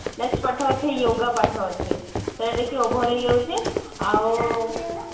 next ପାଠ ହଉଛି yoga ପାଠ ଅଛି over ହେଇ ଯାଉଛି ଆଉ